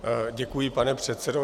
Děkuji, pane předsedo.